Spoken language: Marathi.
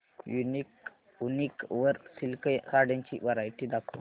वूनिक वर सिल्क साड्यांची वरायटी दाखव